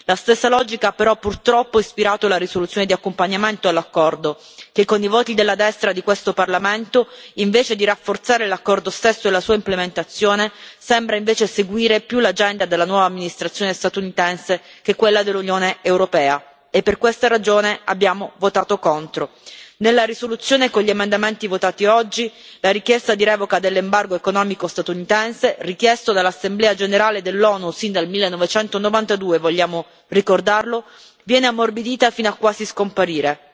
La stessa logica, però, purtroppo ha ispirato la risoluzione di accompagnamento dell'accordo che, con i voti della destra di questo Parlamento, invece di rafforzare l'accordo stesso e la sua implementazione sembra seguire più l'agenda della nuova Amministrazione statunitense che quella dell'Unione europea, e per questa ragione abbiamo votato contro. Nella risoluzione, con gli emendamenti votati oggi, la richiesta di revoca dell'embargo economico statunitense, richiesta dall'Assemblea generale dell'ONU sin dal 1992 vogliamo ricordarlo viene ammorbidita fino quasi a scomparire.